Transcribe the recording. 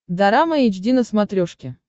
дорама эйч ди на смотрешке